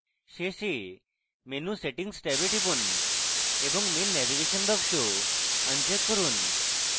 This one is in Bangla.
শেষে menu settings ট্যাবে টিপুন এবং main navigation box uncheck করুন